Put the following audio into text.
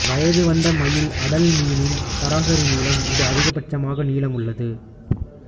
வயது வந்த மயில் அடல் மீனின் சராசரி நீளம் இது அதிகபட்சமாக நீளமுள்ளது